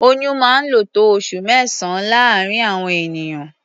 Oyún máa ń lò tó oṣù mẹ́sàn-án láàárín àwọn ènìyàn.